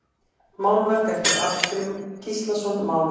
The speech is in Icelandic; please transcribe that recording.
Málverk eftir Arngrím Gíslason málara